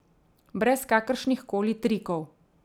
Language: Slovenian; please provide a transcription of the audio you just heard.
Brez kakršnih koli trikov.